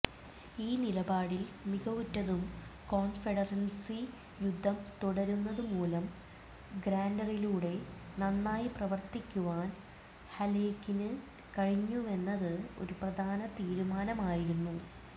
ഈ നിലപാടിൽ മികവുറ്റതും കോൺഫെഡറസി യുദ്ധം തുടരുന്നതുമൂലം ഗ്രാൻറിലൂടെ നന്നായി പ്രവർത്തിക്കുവാനും ഹാലേക്കിന് കഴിഞ്ഞുവെന്നത് ഒരു പ്രധാന തീരുമാനമായിരുന്നു